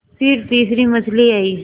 फिर तीसरी मछली आई